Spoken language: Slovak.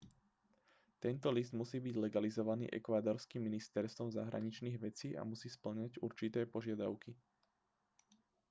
tento list musí byť legalizovaný ekvádorským ministerstvom zahraničných vecí a musí spĺňať určité požiadavky